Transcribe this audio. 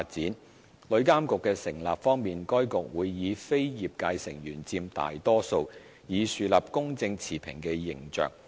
在旅監局的成立方面，該局會由非業界成員佔大多數，以樹立公正持平的形象。